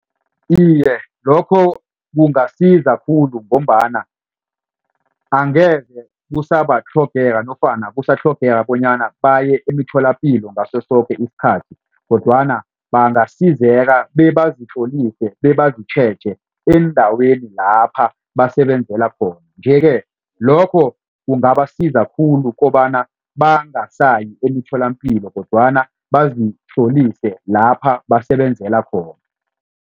Iye, lokho kungasiza khulu ngombana angeze kusabatlhogeka nofana kusatlhogeka bonyana baye emitholapilo ngaso soke isikhathi kodwana bangasizeka bebazitlolise bebazitjheje eendaweni lapha basebenzela khona. Nje-ke lokho kungabasiza khulu kobana bangasayi emitholampilo kodwana bazitlolise lapha basebenzela khona.